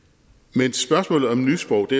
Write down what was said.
men spørgsmålet om nysprog